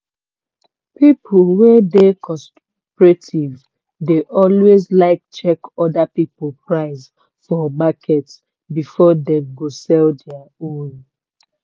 people we dey cooperative dey alway like check other people price for market before dem go sell dia own.